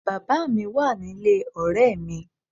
Bàbá mi wà nílé ọ̀rẹ́ mi